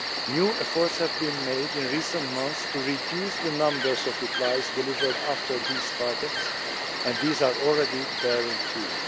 New efforts have been made in recent months to reduce the numbers of replies delivered after these targets, and these are already bearing fruit.